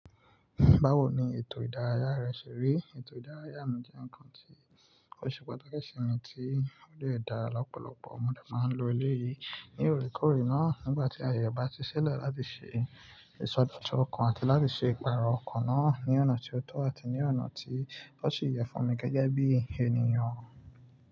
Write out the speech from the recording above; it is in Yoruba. Báwo ni ètò ìdárayá rẹ ṣe rí? Ètò ìdárayá mi jẹ́ ǹkan tí ó ṣe pàtàkì sí mi tí ó lè dá lọ́pọ̀lọpọ̀ mo dẹ máa ń lo eléyìí. Ní òrékòóré náà, nígbà tí ààyè bá ti ṣí silẹ láti ṣe ìsọdọtun ọkàn àti láti ṣe ìpààrọ̀ ọkàn náà ní ọ̀nà tí ó tọ́ àti ní ọ̀nà tí o sì yẹ fún mi gẹ́gẹ́ bí ènìyàn.